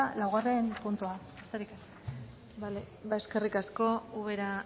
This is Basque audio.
laugarrena puntua besterik ez eskerrik asko ubera